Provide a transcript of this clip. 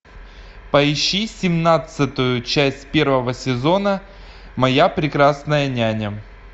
поищи семнадцатую часть первого сезона моя прекрасная няня